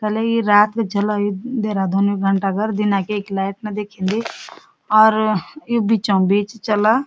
अले यि रात क जला यू देहरादूने घंटाघर दिनक यख लेट ना दिख्यांदी और यू बीचों बीच चला।